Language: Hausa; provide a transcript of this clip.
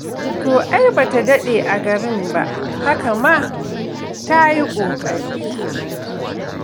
To ai ba ta ma daɗe a garin ba, haka ma ta yi ƙoƙari.